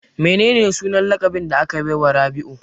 Menene sunan laƙabin da aka baiwa Rabiu?